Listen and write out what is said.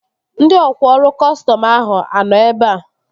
Ndị ọkwá ọrụ kọstọm ahụ a nọ ebea?